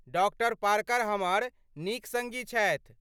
Doctor Parker हमर नीक सड़्गी छथि।